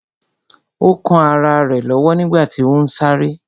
Ó kán ará rẹ̀ lọ́wọ́ nígbàtí ó ún sáré